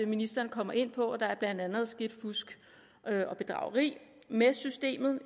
ministeren kommer ind på at der blandt andet er sket fusk og bedrageri med systemet